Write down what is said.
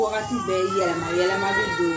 Waagati bɛ yɛlɛma yɛlɛmali de yee